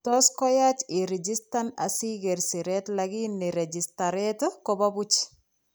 Tot koyach irigistan asikeer sireet lakini rigistareet kobo buch